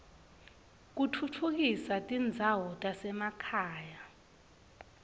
kutfutfukisa tindzawo tasema khaya